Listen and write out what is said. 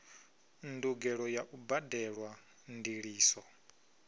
ndugelo ya u badelwa ndiliso